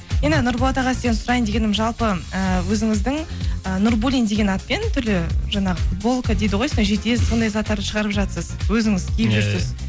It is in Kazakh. енді нұрболат аға сізден сұрайын дегенім жалпы ыыы өзіңіздің ы нурбуллин деген атпен түрлі жаңағы футболка дейді ғой сондай заттарды шығарып жатырсыз өзіңіз